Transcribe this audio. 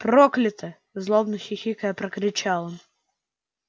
проклято злобно хихикая прокричал он